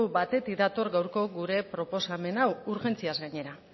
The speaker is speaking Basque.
batetik dator gaurko gure proposamen hau urgentziaz gainera